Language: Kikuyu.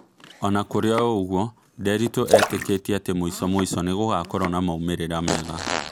Ona kũrĩ ũguo ,Nderitu etĩketie atĩ mũico mũico nĩgũgakorwo na maumerera mega